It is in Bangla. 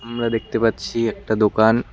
আমরা দেখতে পাচ্ছি একটা দোকান।